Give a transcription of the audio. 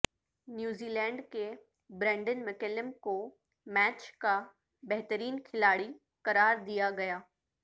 New Zealand کے Brendon McCullum کو match کا بہترین کھلاڑی قرار دیا گیا